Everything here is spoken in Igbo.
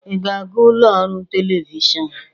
Ị ga-aga ụlọ ọrụ telivishọn?